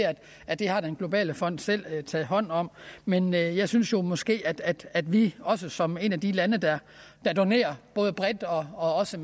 at det har den globale fond selv taget hånd om men jeg synes jo måske at vi også som et af de lande der donerer både bredt og også